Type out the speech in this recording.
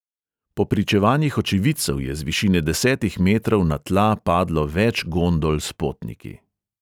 Po pričevanjih očividcev je z višine desetih metrov na tla padlo več gondol s potniki.